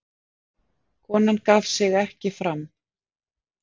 Konan gaf sig ekki fram